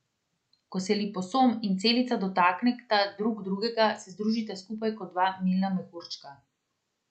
Ko se liposom in celica dotakneta drug drugega, se združita skupaj kot dva milna mehurčka.